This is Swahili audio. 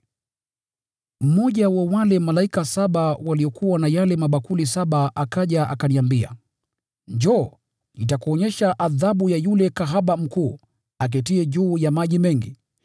Mmoja wa wale malaika saba waliokuwa na yale mabakuli saba akaja akaniambia, “Njoo, nitakuonyesha adhabu ya yule kahaba mkuu, aketiye juu ya maji mengi.